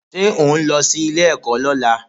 Ṣé òhún lọ sí ilé-ẹ̀kọ́ lọ́la?